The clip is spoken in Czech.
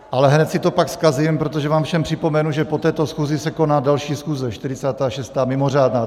Ale hned si to pak zkazím, protože vám všem připomenu, že po této schůzi se koná další schůze, 46., mimořádná.